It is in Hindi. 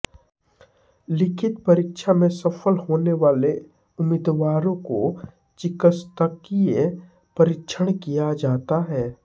लिखित परीक्षा में सफल होने वाले उम्मीदवारों का चिकित्सकीय परीक्षण किया जाता है